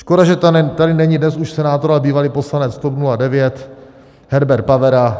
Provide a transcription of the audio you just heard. Škoda, že tady není dnes už senátor a bývalý poslanec TOP 09 Herbert Pavera.